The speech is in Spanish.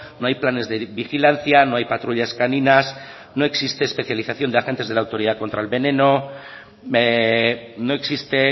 no hay planes de vigilancia no hay patrullas caninas no existe especialización de agentes de la autoridad contra el veneno no existe